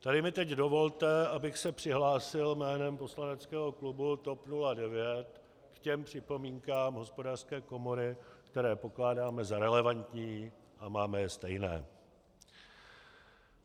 Tady mi teď dovolte, abych se přihlásil jménem poslaneckého klubu TOP 09 k těm připomínkám Hospodářské komory, které pokládáme za relevantní a máme je stejné.